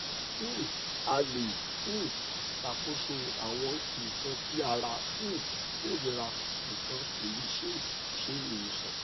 um a le um ṣakoso awọn nkan ti ara um korira nikan ko le ṣe iwosan